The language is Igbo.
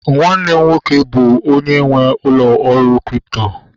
Nwanne m nwoke bụbu onye nwee ụlọ ọrụ kripto